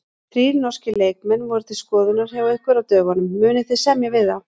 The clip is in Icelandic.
Þrír norskir leikmenn voru til skoðunar hjá ykkur á dögunum, munið þið semja við þá?